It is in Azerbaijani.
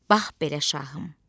Bax belə, şahım.